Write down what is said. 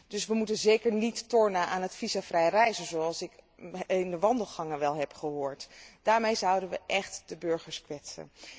Dus wij moeten zeker niet tornen aan het visumvrij reizen, zoals ik in de wandelgangen wel heb gehoord. Daarmee zouden wij echt de burgers kwetsen.